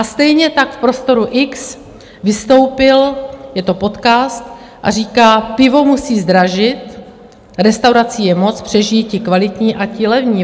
A stejně tak v Prostoru X vystoupil, je to podcast, a říká, pivo musí zdražit, restaurací je moc, přežijí ti kvalitní a ti levní.